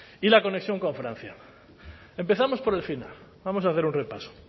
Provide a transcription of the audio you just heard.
y la conexión con francia empezamos por el final vamos a hacer un repaso